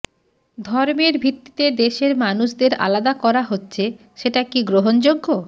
ধর্মের ভিত্তিতে দেশের মানুষদের আলাদা করা হচ্ছে সেটা কী গ্রহণযোগ্য